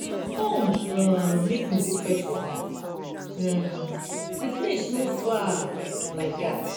come um make we go fetch water um the place no far um like dat.